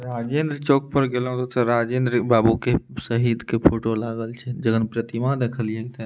राजेंद्र चौक पर गएलो त राजेंद्र बाबू के शहीद के फोटो लागल छै जेखन प्रतीमा देखलिय ते --